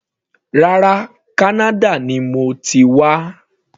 Rárá, Kánádà ni mo ti wá.